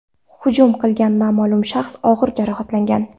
Hujum qilgan noma’lum shaxs og‘ir jarohatlangan.